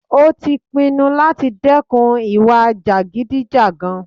Ó tí pinnu láti dẹ́kun ìwà jàgídíjàgan.